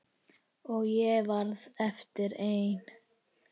Og ég varð eftir ein.